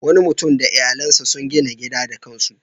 Wani mutum da iyalansa sun gina gida da kan su.